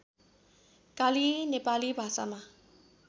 काली नेपाली भाषामा